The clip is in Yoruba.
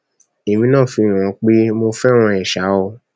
èmi náà fi hàn án pé mo fẹràn ẹ ṣáá o